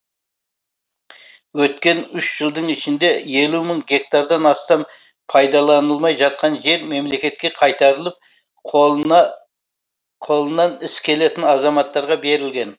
өткен үш жылдың ішінде елу мың гектардан астам пайдаланылмай жатқан жер мемлекетке қайтарылып қолынан іс келетін азаматтарға берілген